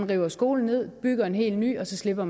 river skolen ned bygger en helt ny og slipper